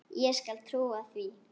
Ég skal trúa því.